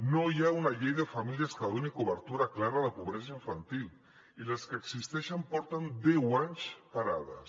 no hi ha una llei de famílies que doni cobertura clara a la pobresa infantil i les que existeixen porten deu anys parades